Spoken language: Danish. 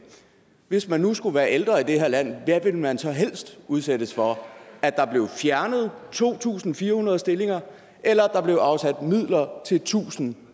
hvis man nu skulle være ældre i det her land hvad ville man så helst udsættes for at der blev fjernet to tusind fire hundrede stillinger eller at der blev afsat midler til tusind